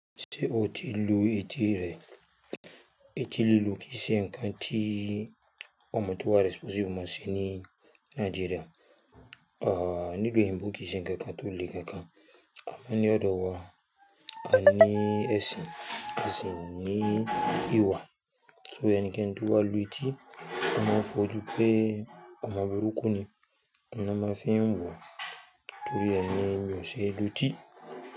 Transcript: Ṣé o ti lu etí rẹ? Etí lilu kì í ṣe nǹkan tí ọmọ tó wà responsible máa ṣe ní Nàìjíríà, ah nilu oyinbo kiì ṣe ńkankan tò lè kankan. Amọ ní ọ̀dọ̀ wa, a ní ẹsin, ẹsin ní ìwà. Torí ẹnikẹ́ni tó wá lu etí, wọn mọ n fọ́ju pé ọmọ burúkú ni. Ọ̀hun nà máa fi ń wo o torí ẹ ni mi o ṣé lutí.